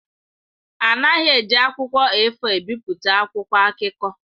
A naghị eji akwụkwọ A4 ebipụta akwụkwọ akụkọ.